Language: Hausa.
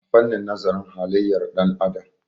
a fannin nazarin haliyyar ɗan'adam